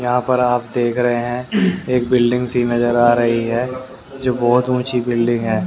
यहां पर आप देख रहे हैं एक बिल्डिंग सी नजर आ रही है जो बहुत ऊंची बिल्डिंग है।